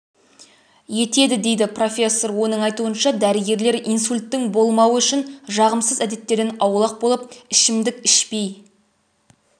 етеді дейді профессор оның айтуынша дәрігерлер инсульттың болмауы үшін жағымсыз әдеттерден аулақ болып ішімдік ішпей